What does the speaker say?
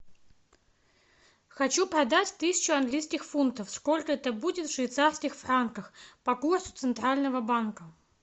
хочу продать тысячу английских фунтов сколько это будет в швейцарских франках по курсу центрального банка